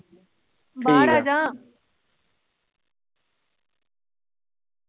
ਬਾਹਰ ਆਜਾ ।